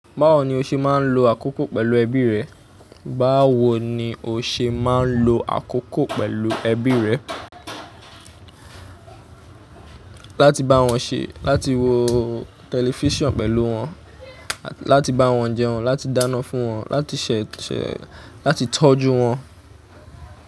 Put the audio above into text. Báwo ni o ṣe máa ń lo àkókò pẹ̀lú ẹbí rẹ? Báwo ni o ṣe máa ń lo àkókò pẹ̀lú ẹbí rẹ? Láti bá wọn ṣé, láti wo tẹlifísàn pẹ̀lú wọn, láti bá wọn jẹun, láti dáná fún wọn, láti ṣẹ̀, láti tọ́jú wọn.